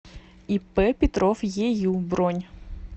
ип петров ею бронь